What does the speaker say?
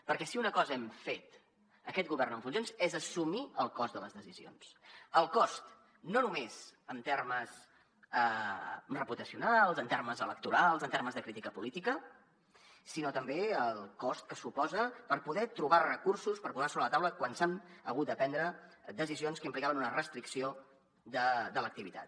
perquè si una cosa hem fet aquest govern en funcions és assumir el cost de les decisions el cost no només en termes reputacionals en termes electorals en termes de crítica política sinó també el cost que suposa per poder trobar recursos per posar sobre la taula quan s’han hagut de prendre decisions que implicaven una restricció de l’activitat